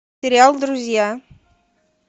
сериал друзья